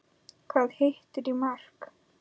Hvað hittir í mark?